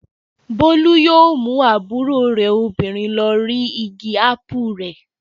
Bólú yóò mú àbúrò rẹ̀ obìnrin lọ rí igi ápù rẹ̀.